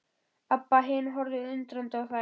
Abba hin horfði undrandi á þær.